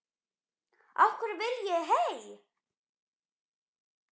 Af hverju viljið þið hey!